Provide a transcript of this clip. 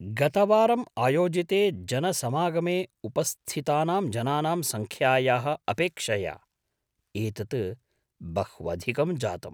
गतवारम् आयोजिते जनसमागमे उपस्थितानां जनानां संख्यायाः अपेक्षया एतत् बह्वधिकं जातम्।